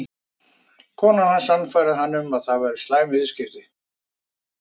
Konan hans sannfærði hann um að það væru slæm viðskipti.